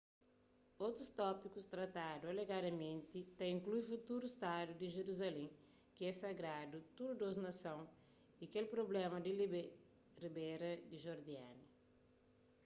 otus tópikus tratadu alegadamenti ta inklui futuru stadu di jeruzalén ki é sagradu tudu dôs nason y kel prubléma di ribéra di jordania